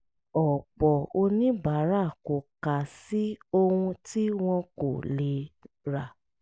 ọ̀pọ̀ oníbàárà kò kà á sí ohun tí wọn kò lè rà